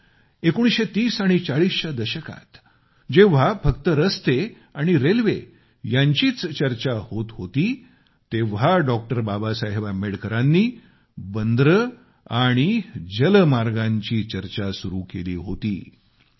भारतात 1930 आणि 1940 च्या दशकात जेंव्हा फक्त रस्ते आणि रेल्वे यांचीच चर्चा होत होती तेंव्हा डॉ बाबासाहेब आंबेडकरांनी बंदरे आणि जलमार्गांची चर्चा सुरु केली होती